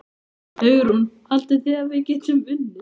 Hugrún: Haldið þið að við getum unnið?